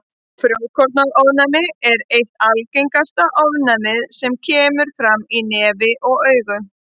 Frjókornaofnæmi er eitt algengasta ofnæmið sem kemur fram í nefi og augum.